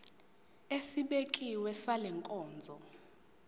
esibekiwe sale nkonzo